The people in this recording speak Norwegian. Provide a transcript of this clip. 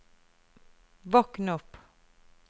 våkn opp